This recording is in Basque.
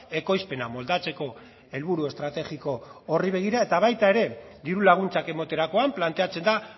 ekoizpena moldatzeko helburu estrategiko horri begira eta baita ere diru laguntzak ematerakoan planteatzen da